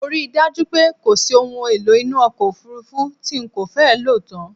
Mo ri dájú pé kòsí ohun èlò inú ọkọ̀ òfurufú tí n kò fẹ́ lòtán